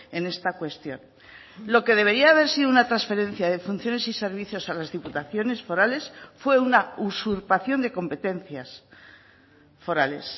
en esta cuestión lo que debería haber sido una transferencia de funciones y servicios a las diputaciones forales fue una usurpación de competencias forales